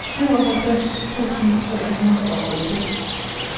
syvoghalvfems tusind tre hundrede og otte